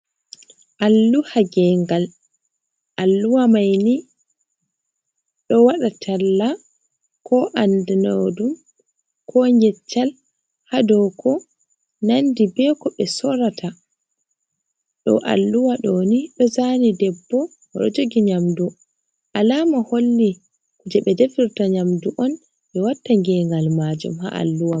Alluha gengal, Alluha maini do waɗatalla ko andanaɗum ko ngeccal ha dow ko nandi be ko be sorata. do Alluha dooni do zaani debbo o do jogi nyamdu alama holli kuje ɓe defirta nyamdu on be watta gengal maajum ha Alluha man.